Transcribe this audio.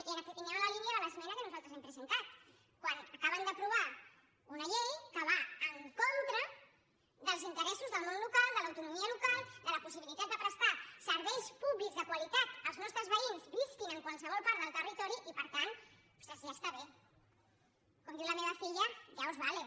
i anem en la línia de l’esmena que nosaltres hem presentat quan acaben d’aprovar una llei que va en contra dels interessos del món local de l’autonomia local de la possibilitat de prestar serveis públics de qualitat als nostres veïns visquin en qualsevol part del territori i per tant ostres ja està bé com diu la meva filla ya os vale